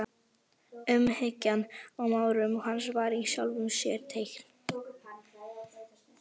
Umhyggjan í málrómi hans var í sjálfu sér teikn.